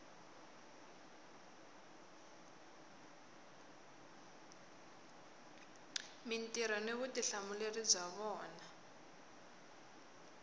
mintirho ni vutihlamuleri bya vona